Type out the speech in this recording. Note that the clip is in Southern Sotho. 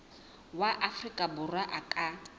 wa afrika borwa a ka